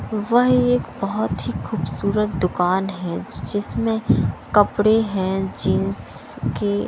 वह एक बहुत ही खूबसूरत दुकान है जिसमें कपड़े हैं जींस के --